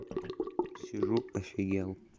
сижу офигел